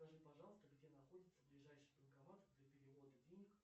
скажи пожалуйста где находится ближайший банкомат для перевода денег